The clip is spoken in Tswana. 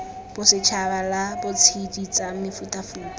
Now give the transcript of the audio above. bosetšhaba la ditshedi tsa mefutafuta